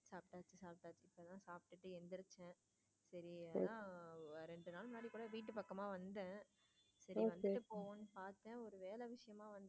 சரி ரெண்டு நாள் ரெண்டு நாள் முன்னாடி கூட வீட்டு பக்கமா வந்தேன் சரி வந்துட்டு போங்கன்னு பார்த்தேன் ஒரு வேலை விஷயமா வந்தேன்.